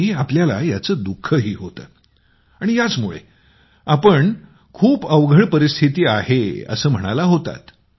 आणि आपल्याला याचं दुःखंही होतं आणि याचमुळे आपण आपल्याला खूप अवघड परिस्थिती आहे असं आपण म्हणत होता